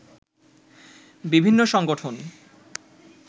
বিভিন্ন সংগঠন